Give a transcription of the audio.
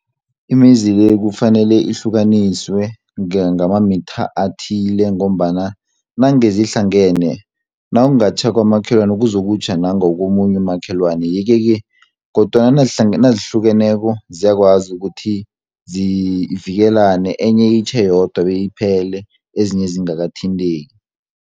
Imizi le, kufanele ihlukaniswe ngamamitha athile, ngombana nange zihlangene, nangatjha kwamakhelwani kuzokutjha nangakomunye umakhelwani yeke-ke kodwana nazihlukeneko, ziyakwazi ukuthi zivikelane enye itjhe yodwa beyiphele, ezinye zingakathinteki.